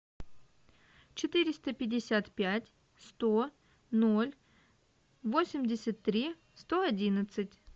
четыреста пятьдесят пять сто ноль восемьдесят три сто одиннадцать